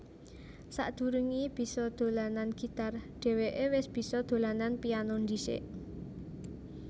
Sadurungé bisa dolanan gitar dhèwéké wis bisa dolanan piano dhisik